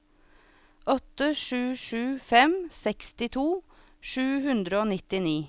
åtte sju sju fem sekstito sju hundre og nittini